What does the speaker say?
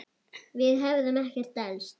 Við hefðum ekkert elst.